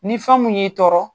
Ni fɛn mun y'i tɔɔrɔ